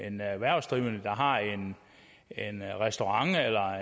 en erhvervsdrivende der har en restaurant eller